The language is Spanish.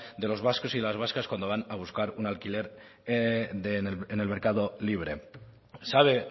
de los vascos y de las vascas cuando van a buscar un alquiler en el mercado libre sabe